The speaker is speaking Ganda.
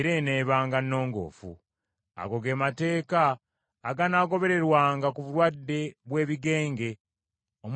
Ago ge mateeka aganaagobererwanga ku bulwadde bw’ebigenge, omubiri ogusiiwa,